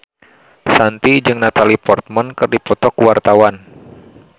Shanti jeung Natalie Portman keur dipoto ku wartawan